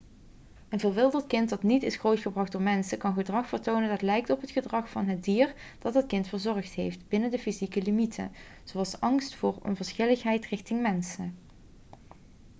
een verwilderd kind dat niet is grootgebracht door mensen kan gedrag vertonen dat lijkt op het gedrag van het dier dat het kind verzorgd heeft binnen de fysieke limieten zoals angst voor of onverschilligheid richting mensen